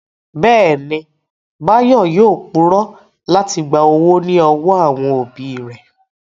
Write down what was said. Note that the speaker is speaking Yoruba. Bẹ́ẹ̀ni, Báyọ̀ yóò purọ́ láti gba owó ní ọwọ́ àwọn òbí rẹ̀